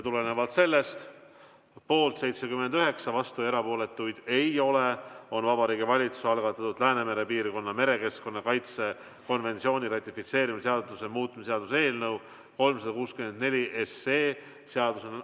Tulenevalt sellest ütlen, et tulemusega poolt 79, vastuolijaid ja erapooletuid ei ole, on Vabariigi Valitsuse algatatud Läänemere piirkonna merekeskkonna kaitse konventsiooni ratifitseerimise seaduse muutmise seaduse eelnõu 364 seadusena ...